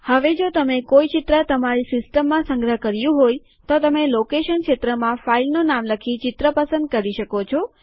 હવે જો તમે કોઈ ચિત્ર તમારી સિસ્ટમમાં સંગ્રહ કર્યું હોય તો તમે લોકેશન ક્ષેત્રમાં ફાઈલનું નામ લખી ચિત્ર પસંદ કરી શકો છો